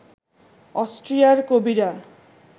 অস্ট্রিয়ার কবিরা